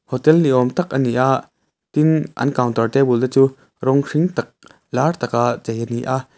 hotel ni awm tak ani a tin an counter table te chu rawng hring tak lar tak a chei ani a.